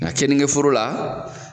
Nka kenige foro la